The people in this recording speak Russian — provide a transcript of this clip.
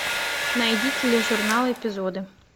найди тележурнал эпизоды